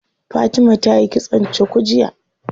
Fatima tayi kitson cuku jiya.